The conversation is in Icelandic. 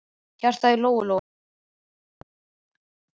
Hjartað í Lóu-Lóu hætti að slá.